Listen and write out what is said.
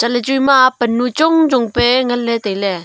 chatley chu ema pan nu chong chong pe ngan ley tailey.